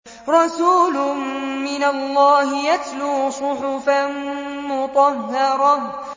رَسُولٌ مِّنَ اللَّهِ يَتْلُو صُحُفًا مُّطَهَّرَةً